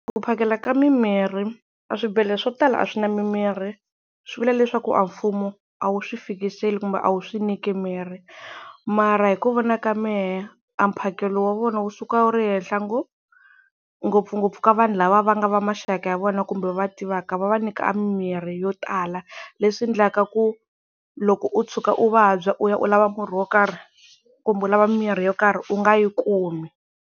Ku phakela ka mimirhi, a swibedhlele swo tala a swi na mimirhi swi vula leswaku a mfumo a wu swi fikisela kumbe a wu swi nyiki mirhi. Mara hi ku vona ka mehe a mphakelo wa vona wu suka wu ri henhla ngopfu, ngopfungopfu ka vanhu lava va nga va maxaka ya vona kumbe va va tivaka va va nyika mimirhi yo tala. Leswi endlaka ku loko u tshuka u vabya u ya u lava murhi wo karhi kumbe u lava mimirhi yo karhi u nga yi kumi.